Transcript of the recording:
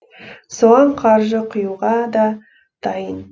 соған қаржы құюға да дайын